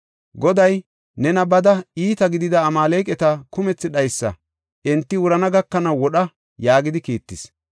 Goday, ‘Neeni bada iita gidida Amaaleqata kumethi dhaysa; enti wurana gakanaw wodha’ yaagidi kiittis.